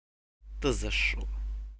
та за что